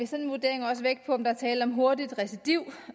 sådan vurdering også vægt på om der er tale om hurtigt recidiv